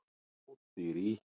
Ódýr í